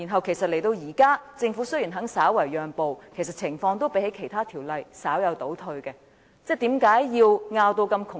現時雖然政府願意稍為讓步，但與其他條例相比，情況其實也稍有倒退。